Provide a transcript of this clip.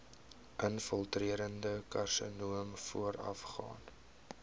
infiltrerende karsinoom voorafgaan